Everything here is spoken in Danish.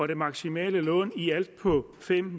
det maksimale lån i alt på fem